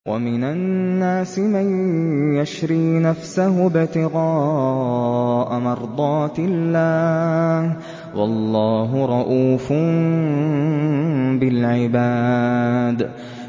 وَمِنَ النَّاسِ مَن يَشْرِي نَفْسَهُ ابْتِغَاءَ مَرْضَاتِ اللَّهِ ۗ وَاللَّهُ رَءُوفٌ بِالْعِبَادِ